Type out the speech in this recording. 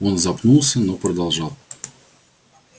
он запнулся но продолжал